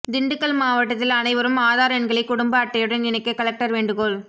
திண்டுக்கல் மாவட்டத்தில் அனைவரும் ஆதார் எண்களை குடும்ப அட்டையுடன் இணைக்க கலெக்டர் வேண்டுகோள்